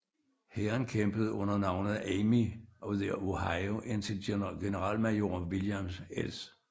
Hæren kæmpede under navnet Army of the Ohio indtil generalmajor William S